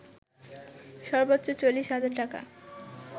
সর্বোচ্চ ৪০ হাজার টাকা